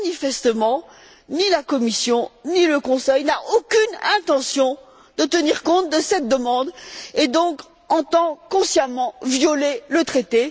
Or, manifestement, ni la Commission, ni le Conseil n'ont aucune intention de tenir compte de cette demande et entendent donc consciemment violer le traité.